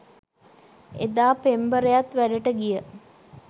එදා පෙම්බරයත් වැඩට ගිය